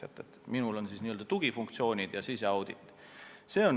Minu alluvuses on n-ö tugifunktsioonid ja siseaudit.